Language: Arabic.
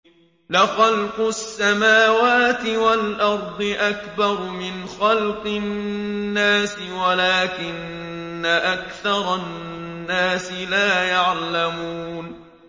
لَخَلْقُ السَّمَاوَاتِ وَالْأَرْضِ أَكْبَرُ مِنْ خَلْقِ النَّاسِ وَلَٰكِنَّ أَكْثَرَ النَّاسِ لَا يَعْلَمُونَ